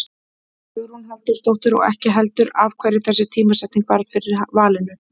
Hugrún Halldórsdóttir: Og ekki heldur af hverju þessi tímasetning varð fyrir valinu?